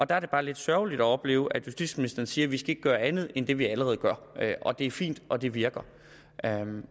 der er det bare lidt sørgeligt at opleve at justitsministeren siger at vi ikke skal gøre andet end det vi allerede gør det er fint og det virker